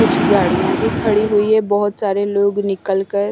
कुछ गाड़ियां भी खड़ी हुई है बहुत सारे लोग निकल कर --